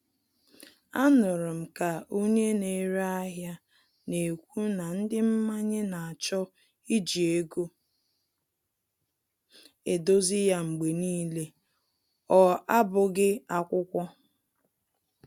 A nụrụ m ka onye na-ere ahịa na-ekwu na ndị mmanye na-achọ iji ego edozi ya mgbe n'ile, ọ abụghị akwụkwọ